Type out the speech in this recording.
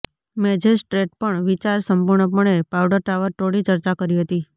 magistrate પણ વિચાર સંપૂર્ણપણે પાઉડર ટાવર તોડી ચર્ચા કરી હતી